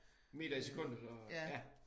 Meter i Sekundet og ja